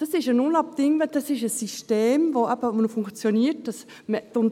Es ist unabdingbar, es ist ein System, das gemäss dem Bündner Modell so funktioniert, dass die individuelle